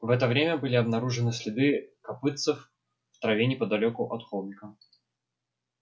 в это время были обнаружены следы копытцев в траве неподалёку от холмика